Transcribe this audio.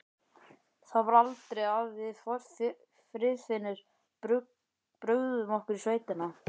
Það var aldrei að við Friðfinnur brugðum okkur í sveitina.